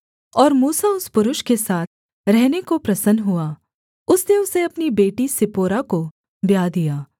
और मूसा उस पुरुष के साथ रहने को प्रसन्न हुआ उसने उसे अपनी बेटी सिप्पोरा को ब्याह दिया